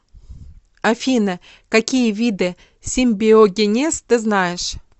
афина какие виды симбиогенез ты знаешь